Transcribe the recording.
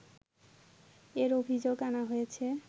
এর অভিযোগ আনা হয়েছে